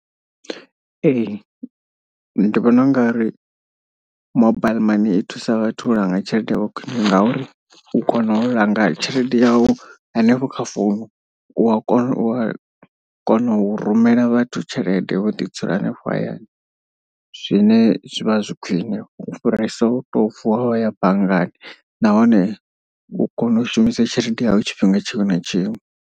Ee ndi vhona u nga ri mobile mani i thusa vhathu u langa tshelede yavho khwine ngauri u kona u langa tshelede yau hanefho kha founu. U wa kona u a u kona u rumela vhathu tshelede wo ḓi dzula henefho hayani. Zwine zwivha zwi khwiṋe u fhirisa u to vuwa wa ya banngani nahone u kona u shumisa tshelede yau tshifhinga tshiṅwe na tshiṅwe.